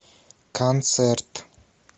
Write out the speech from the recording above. концерт